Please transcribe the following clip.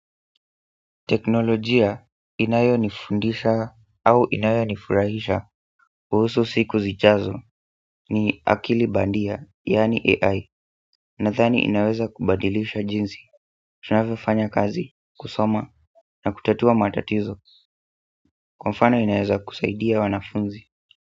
Teknolojia inayonifundisha au inayonifurahisha kuhusu siku zijazo ni akili bandia yaani AI. Nadhani inaweza kubadilisha jinsi tunzavyofanya kazi, kusoma na kutatua matatizo kwa mfano inaweza kusaidia wanafunzi.